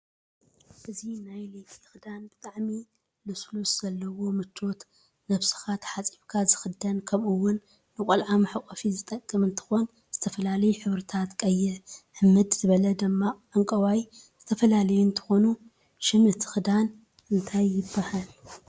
እዚ ናይ ለይቲ ክዳን ብጣዓሚ ልስሉስ ዘለዎ ምቸት ነብዝካ ታፅብካ ዝክደን ከምኡ እወን ንቆላዓ መሕቀፍ ዝጠቅም እንትኮን ዝተፈላላዩ ሕብርታት ቀይሕ፣ ሕምድ ዝበለ ደምቅ ዕንቃይ፣ ዝተፈላለዩ እንትኮኑ ሽም እቲ ክዳን ታይ ይብሃል?